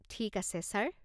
ঠিক আছে, ছাৰ।